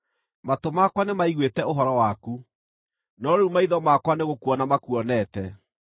Matũ makwa nĩmaiguĩte ũhoro waku no rĩu maitho makwa nĩgũkuona makuonete.